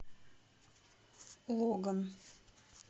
логан